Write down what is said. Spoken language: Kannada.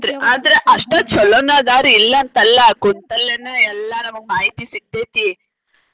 ಹೌದ್ರಿ ಆದ್ರ ಅಷ್ಟ ಚೊಲೋನ ಅದಾವ್ರಿ ಇಲ್ಲಾಂತ ಅಲ್ಲಾ ಕುಂತಲ್ಲೆನ ಎಲ್ಲಾ ನಮಗ ಮಾಹಿತಿ ಸಿಗ್ತೇತಿ.